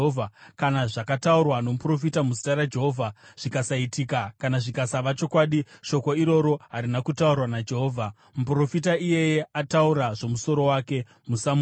Kana zvakataurwa nomuprofita muzita raJehovha zvikasaitika kana zvikasava chokwadi, shoko iroro harina kutaurwa naJehovha. Muprofita iyeye ataura zvomusoro wake. Musamutya.